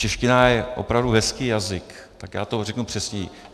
Čeština je opravdu hezký jazyk, tak já to řeknu přesněji.